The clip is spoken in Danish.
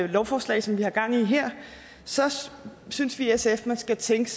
det lovforslag som vi har gang i her synes vi i sf man skal tænke